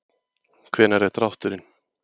Hvenær er drátturinn?